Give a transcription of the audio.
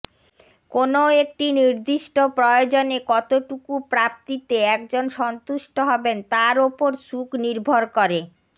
কোনও একটি নির্দিষ্ট প্রয়োজনে কতটুকু প্রাপ্তিতে একজন সন্তুষ্ট হবেন তার ওপর সুখ নির্ভর করে